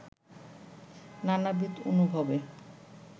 নানাবিধ অনুভবে